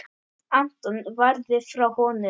Anton varði frá honum.